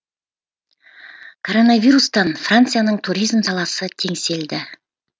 коронавирустан францияның туризм саласы теңселді